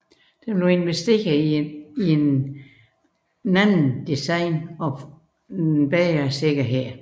Der blev investeret i et ændret design og forbedret sikkerhed